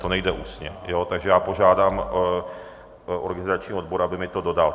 To nejde ústně, takže já požádám organizační odbor, aby mi to dodal.